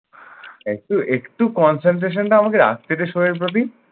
একটু একটু concentration টা আমাকে রাখতে দে show এর প্রতি।